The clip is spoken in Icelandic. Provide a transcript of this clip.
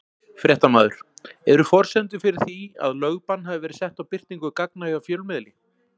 Fréttamaður: Eru forsendur fyrir því að lögbann hafi verið sett á birtingu gagna hjá fjölmiðli?